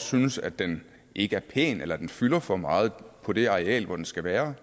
synes at den ikke er pæn eller at den fylder for meget på det areal hvor den skal være